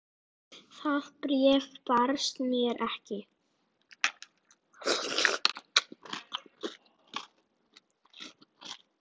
Það bréf barst mér ekki!